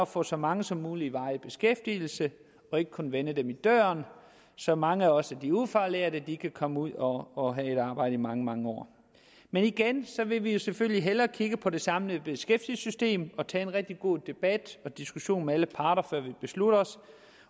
få så mange som muligt i varig beskæftigelse og ikke kun vende dem i døren så mange af også de ufaglærte kan komme ud og og have et arbejde i mange mange år men igen vil vi selvfølgelig hellere kigge på det samlede beskæftigelsessystem og tage en rigtig god debat og diskussion med alle parter før vi beslutter os